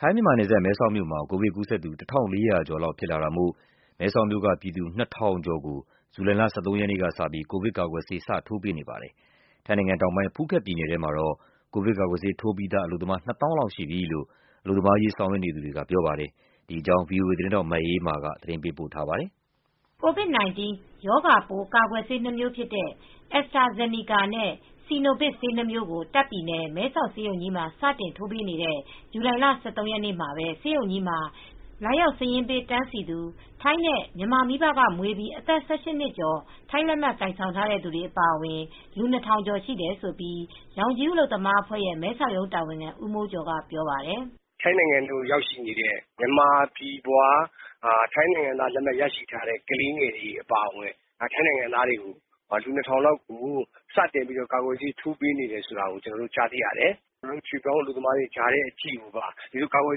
ထိုင်း-မြန်မာ နယ်စပ်၊ မဲဆောက်မြို့မှာ ကိုဗစ်ကူးစက်သူ ၁,၄၀၀ ကျော်လောက် ဖြစ်လာတာမို့ မဲဆောက်မြို့ကပြည်သူ ၂,၀၀၀ ကျော် ကိုဇူလိုင်လ ၁၃ရက်ကစပြီး ကိုဗစ်ကာကွယ်ဆေး စတင်ထိုးပေးနေပါတယ်။ ထိုင်းတောင်ပိုင်း ဖူးခက်ပြည်နယ်ထဲမှာတော့ ကိုဗစ်ကာကွယ်ဆေး ထိုးပြီးသား အလုပ်သမား ၂၀,၀၀၀ လောက်ရှိပြီလို့ အလုပ်သမားရေး ဆောင်ရွက်နေသူတွေက ဆိုပါတယ်။ ဒီအကြောင်းကိုတော့ ဗွီအိုအေ သတင်းထောက်မအေးအေးမာက သတင်းပေးပို့ထားပါတယ်။ ကိုဗစ်-၁၉ ရောဂါပိုး ကာကွယ်ဆေးနှစ်မျိုးဖြစ်တဲ့ Astrazeneca and Sinovac ဆေးနှစ်မျိုးကို တာ့ခ်ပြည်နယ်၊ မဲဆာက်ဆေးရုံကြီးမှာ စတင်ထိုးပေးတဲ့ ဇူလိုင်လ ၁၃ ရက်နေ့မှာပဲ ဆေးရုံကြီးမှာ လာရောက် စာရင်းပေး တန်းစီသူ ထိုင်းနဲ့ မြန်မာမိဘက မွေးပြီးအသက် ၁၈ နှစ်ကျော် ထိုင်းလက်မှတ်ကိုင်ဆောင်ထားတဲ့သူတွေ အပါအဝင်လူ ၂,၀၀၀ ကျော် ရှိတယ်လို့ ရောင်ခြည်ဦးအလုပ်သမားအဖွဲရဲ့ မဲဆောက်ရုံးတာဝန်ခံဦးမိုးကျော်ကပြောပါတယ်။ "ထိုင်းနိုင်ငံကို ရောက်ရှိနေတဲ့ မြန်မာပြည်ဖွား ထိုင်းနိုင်ငံသား လက်မှတ်ရရှိထားတဲ့ ကလေးငယ်တွေအပါအဝင် ထိုင်းနိုင်ငံသားလူ ၂,၀၀၀ လောက်ကို ကာကွယ်ဆေးထိုးပေးနေတယ်ဆိုတာ ကျနော်တို့ သိရတယ်။ ရွှေ့ပြောင်းအလုပ်သမားတွေကိုပါ ဒီလို ကာကွယ်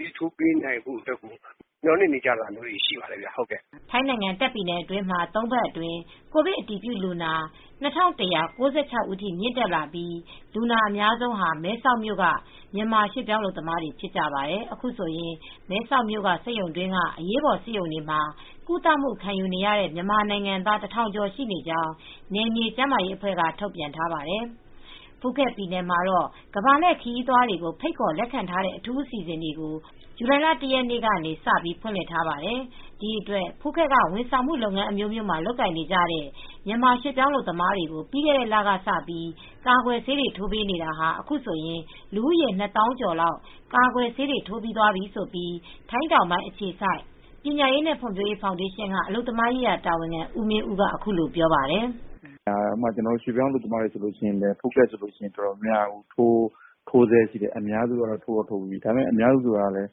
ဆေး ထိုးပေးနိုင်ဖို့အတွက်ပါ မျှော်လင့်နေကြပါတယ်။" ထိုင်းနိုင်ငံ တာခ့်ပြည်နယ်အတွင်းမှာ ၃ ပတ်အတွင်း ကိုဗစ်အတည်ပြုလူနာ ၂,၁၉၆ ဦးထိမြင့်တက်လာပြီး လူနာအများဆုံးဟာ မဲဆောက်မြို့က မြန်မာရွှေ့ပြောင်း အလုပ်သမားတွေဖြစ်ပါတယ်။ အခုဆိုရင် မဲဆောက်မြို့က စက်ရုံတွင်းက အရေးပေါ်ဆေးရုံတွေမှာ ကုသခံယူနေတဲ့ မြန်မာနိုင်ငံသား ၁,၀၀၀ ကျော် ရှိနေကြောင်း နယ်မြေကျန်မာရေးအဖွဲ့က ထုတ်ပြန်ထားပါတယ်။ ဖူးခက်ပြည်နယ်မှာတော့ ကမ္ဘာလှည့်ခရီးသွားတွေကို ဖိတ်ခေါ်လက်ခံထားတဲ့ အထူးအစီစဉ်တွေကို ဇူလိုင် ၁ ရက်နေ့ကပြီး ဖွင့်လှစ်ထားပါတယ်။ ဒီအတွက် ဖူးခက်က ဝန်ဆောင်မှုလုပ်ငန်းအမျိုးမျိုးမှာ လုပ်ကိုင်နေကြတဲ့ မြန်မာရွှေ့ပြောင်းအလုပ်သမားတွေကို ပြီးခဲ့တဲ့လကစပြီး ကာကွယ်ဆေးတွေ ထိုးပေးနေတာ အခုဆိုရင်လူဦးရေ ၂၀,၀၀၀ ကျော်လောက် ကာကွယ်ဆေးထိုးပြီးသွားပြီလို့ ထိုင်းတောင်ပိုင်းအခြေစိုက် ပညာရေးနဲ့ ဖွံ့ဖြိုးရေးဖောင်ဒေးရှင်းက အလုပ်သမားရေးရာတာဝန်ခံ ဦးမင်ဦးက အခုလိုပြောပါတယ်။ "ကျနော်တို့ ရွှေ့ပြောင်းအလုပ်သမားတွေမှာဆိုရင်လည်း ဖူးခက်ဆိုရင်တော့ ထိုးဆဲဖြစ်တယ်။ အများစုက ထိုးပြီးပြီ။ အများစုဆိုကတော့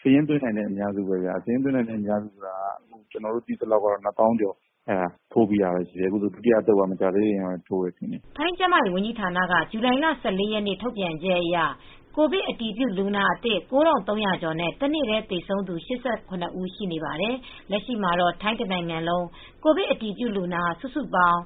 စာရင်းသွင်းပြီးသားလူတွေပဲ ကျနော်တို့ သိထားသလောက်ကတော့ ထိုးပြီးတာ လူဦးရေ ၂၀,၀၀၀ ကျော်ပြီ။ ဒုတိယသုတ်က မကြာသေးခင်ကပဲ ထိုးတယ်။" ထိုင်းကျန်းမာရေးဝန်ကြီးဌာနက ဇွန်လ ၁၄ ရက်ထုတ်ပြန်ချက်အရ ကိုဗစ်အတည်ပြုလူနာအသစ် ၉,၃၀၀ ကျော်နဲ့ တနေ့တည်းသေဆုံးသူ ၈၇ ဦး ရှိနေပါတယ်။ လက်ရှိမှာတော့ ထိုင်းတနိုင်ငံလုံး ကိုဗစ်အတည်ပြုလူနာ စုစုပေါင်း